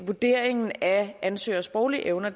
vurderingen af ansøgeres sproglige evner